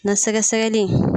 Na sɛgɛsɛgɛli.